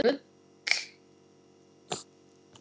Guðný: Gull?